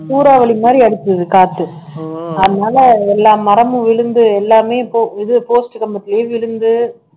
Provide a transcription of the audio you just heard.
சூறாவளி மாரி அடிச்சது காத்து அதனால எல்லா மரமும் விழுந்து எல்லாமே இப்போ இது post கம்பத்திலேயே விழுந்து